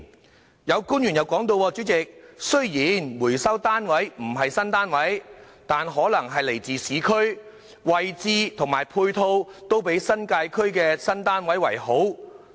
主席，有官員提到，雖然回收單位不是新單位，但可能位於市區，位置及配套均比新界區的新單位好。